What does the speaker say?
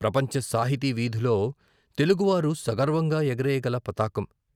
ప్రపంచ సాహితీ వీధిలో తెలుగువారు సగర్వంగా ఎగరేయగల పతాకం....